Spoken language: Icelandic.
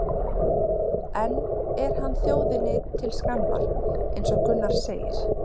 En er hann þjóðinni til skammar eins og Gunnar segir?